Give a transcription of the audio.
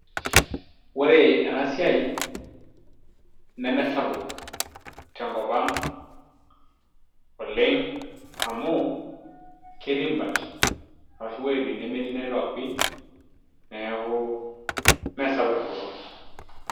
ore ena siia neme sapuk tenkop ang oleng, amu ketii imbat ashu iwuejitin nemetii network pii neeku ime sapuk te nkop ang.